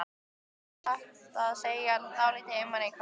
Ég var satt að segja dálítið einmana á kvöldin.